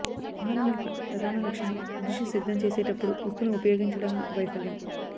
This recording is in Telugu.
ఆహారం యొక్క ప్రధాన లక్షణం డిష్ సిద్ధం చేసేటప్పుడు ఉప్పును ఉపయోగించడంలో వైఫల్యం